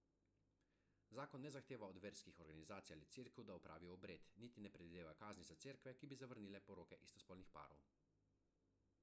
Zakon ne zahteva od verskih organizacij ali cerkev, da opravijo obred, niti ne predvideva kazni za cerkve, ki bi zavrnile poroke istospolnih parov.